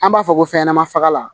An b'a fɔ ko fɛnɲɛnamani faga